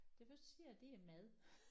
Det første jeg ser det er mad